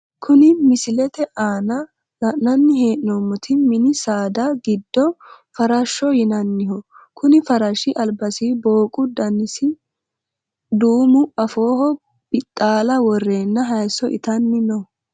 Kuni misilete aana la`nani henomoti mini saada giddo farashoho yinaniho kuni farashi albasi booqu danasi duumu afooho bixaala woreena hayiso itani no.